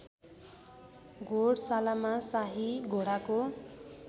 घोडशालामा शाही घोडाको